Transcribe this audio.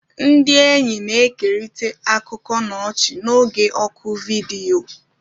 Ndị enyi na-ekerịta akụkọ na ọchị n'oge oku vidiyo.